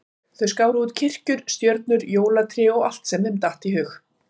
Þau skáru út kirkjur, stjörnur, jólatré og allt sem þeim datt í hug.